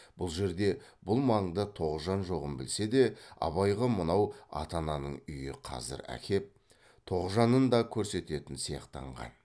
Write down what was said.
бұл жерде бұл маңда тоғжан жоғын білсе де абайға мынау ата ананың үйі қазір әкеп тоғжанын да көрсететін сияқтанған